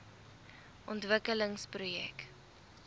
ontwikkelingsprojek